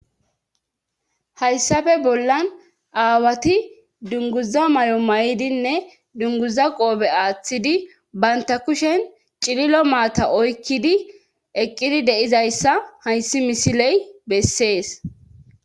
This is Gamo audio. hayssafe bollan aawati dunguza may7o may7idinne dunguza qoobe aaththidi banta kushen cililo maata oykkidi eqqidi deizayssa hayssi misiley bessees